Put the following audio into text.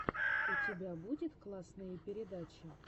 у тебя будет классные передачи